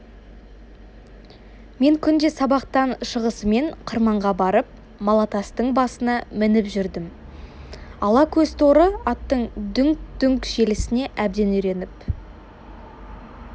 мен күнде сабақтан шығысымен қырманға барып малатастың басына мініп жүрдім ала көз торы аттың дүңк-дүңк желісіне әбден үйреніп